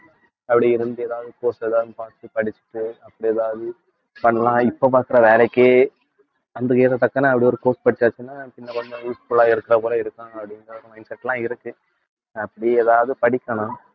அப்படி இருந்து ஏதாவது course ஏதாவது பார்த்து படிச்சுட்டு அப்படி ஏதாவது பண்ணலாம் இப்ப பாக்கற வேலைக்கே வந்து எதோ டக்குனு அப்படி ஒரு course படிச்சாச்சுன்னா இன்னும் கொஞ்சம் useful ஆ இருக்க போல இருக்கும் அப்பிடின்னு ஒரு mindset ல இருக்கு அப்படி ஏதாவது படிக்கணும்